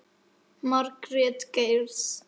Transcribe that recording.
Margrét Geirs.